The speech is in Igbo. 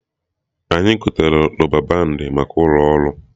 Anyị gotere rọba bandị maka ụlọ ọrụ